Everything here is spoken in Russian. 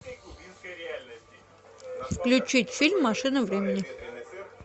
включить фильм машина времени